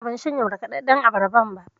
A'a, ban shanye markaɗaɗɗan abarban ba.